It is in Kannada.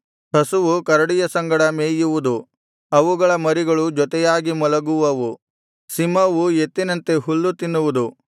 ಹಸುವು ಕರಡಿಯ ಸಂಗಡ ಮೇಯುವುದು ಅವುಗಳ ಮರಿಗಳು ಜೊತೆಯಾಗಿ ಮಲಗುವವು ಸಿಂಹವು ಎತ್ತಿನಂತೆ ಹುಲ್ಲು ತಿನ್ನುವುದು